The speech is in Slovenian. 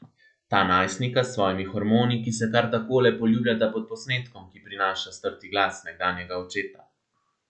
Ta najstnika s svojimi hormoni, ki se kar takole poljubljata pod posnetkom, ki prenaša strti glas nekdanjega očeta.